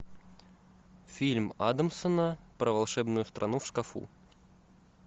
фильм адамсона про волшебную страну в шкафу